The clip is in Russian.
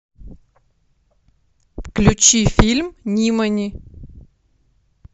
включи фильм нимани